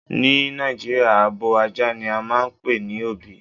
Ni Nàìjíríà, abò àjà ni à máà npè ní ọ̀bí.